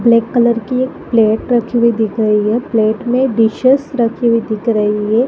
Black colour की एक plate रखी हुई दिख रही है पलेट में डिशेस रखी हुई दिख रही है।